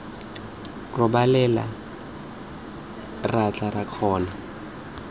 robalela ra tla ra kgona